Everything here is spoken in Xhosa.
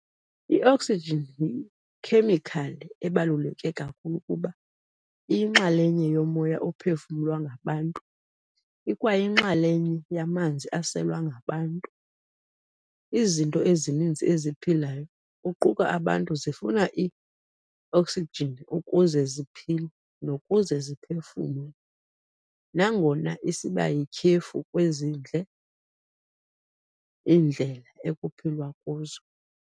I-Oxygen yi-Ikhemikhali ebaluleke kakhulu kuba iyinxalenye yomoya ophefumlwa ngabantu ikwayinxalenye yamanzi aselwa ngabantu. Izinto ezininzi eziphilayo, kuquka abantu zifuna i-oxygenukuze ziphile nokuze ziphefumle, nangona isibayityhefu kwezindle iindlela ekuphilwa kuzo.